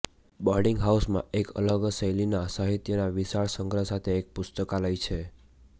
boarding હાઉસમાં એક અલગ શૈલીના સાહિત્યના વિશાળ સંગ્રહ સાથે એક પુસ્તકાલય છે